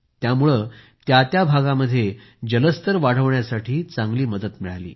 यामुळे त्या त्या भागामध्ये जलस्तर वाढण्यासाठी चांगली मदत मिळाली